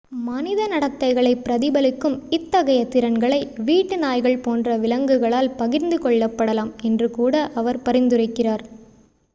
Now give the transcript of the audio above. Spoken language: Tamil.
மனித நடத்தைகளை பிரதிபலிக்கும் இத்தகைய திறன்களை வீட்டு நாய்கள் போன்ற விலங்குகளால் பகிர்ந்து கொள்ளப்படலாம் என்று கூட அவர் பரிந்துரைக்கிறார்